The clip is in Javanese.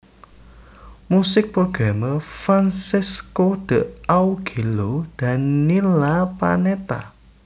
Musik programmer Francesco D Augello Daniela Panetta